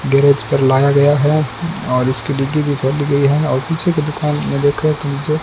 garage पर लाया गया है और इसकी डिक्की भी फट गई है और पीछे की दुकान में देखो एक नीचे--